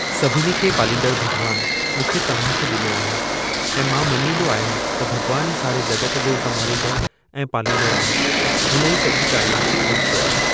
सभिनी खे पालींदड़ भग॒वानु मूंखे तव्हांखे डि॒नो आहे ऐं मां मञींदो आहियां त भग॒वानु ई सारे जग॒त जो संभालींदड़ ऐं पालींदड़ आहे। हुन ई सॼी काइनात खे ख़लकियो आहे।